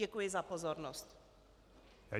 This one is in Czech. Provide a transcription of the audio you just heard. Děkuji za pozornost.